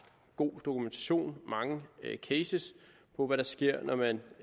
god dokumentation mange cases på hvad der sker når man